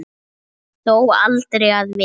Þó aldrei að vita.